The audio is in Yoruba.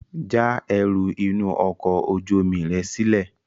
Já ẹrú inú ọkọ̀ ojú omi rẹ sílè!